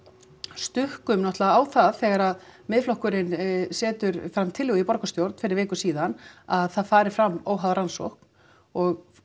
stukkum náttúrulega á það þegar Miðflokkurinn setur fram tillögu í borgarstjórn fyrir viku síðan að það fari fram óháð rannsókn og